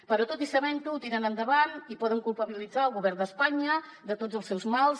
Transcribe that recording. però tot i sabent ho ho tiren endavant i poden culpabilitzar el govern d’espanya de tots els seus mals